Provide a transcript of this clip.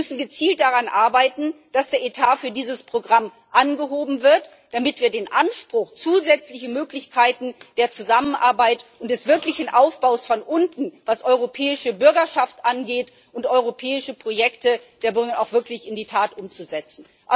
Wir müssen gezielt daran arbeiten, dass der Etat für dieses Programm angehoben wird, damit wir den Anspruch, zusätzliche Möglichkeiten der Zusammenarbeit und des wirklichen Aufbaus von unten, was europäische Bürgerschaft und europäische Projekte der Bürger angeht, auch wirklich in die Tat umsetzen.